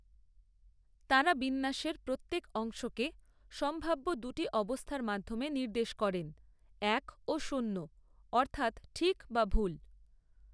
তাঁরা বিন্যাসের প্রত্যেক অংশকে সম্ভাব্য দুটি অবস্থার মাধ্যমে নির্দেশ করেন এক ও শূন্য অর্থাৎ ঠিক বা ভুল।